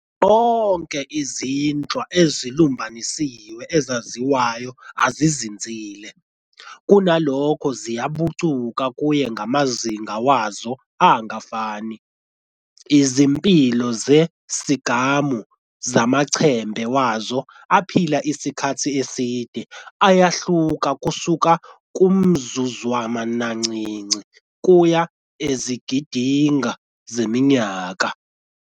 Zonke izinhlwa ezilumbanisiwe ezaziwayo azizinzile, kunalokho ziyabucuka kuye ngamazinga wazo angafani- izimpilo-sigamu zamaChembe wazo aphile isikhathi eside ayahluka kusuka kumzuzwanancinci kuya ezigidinga zeminyaka.